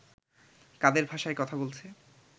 কাদের ভাষায় কথা বলছে